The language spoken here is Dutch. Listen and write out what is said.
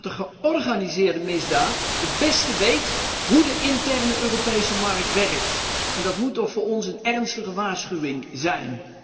Dat de georganiseerde misdaad het beste weet hoe de interne Europese markt werkt, en dat moet voor ons toch een ernstige waarschuwing zijn.